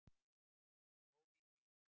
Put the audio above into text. Góð í því!